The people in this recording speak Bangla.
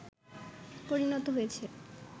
পরিণত হয়েছে